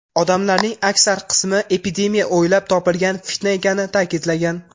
Odamlarning aksar qismi epidemiya o‘ylab topilgan fitna ekanini ta’kidlagan.